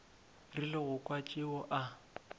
rile go kwa tšeo a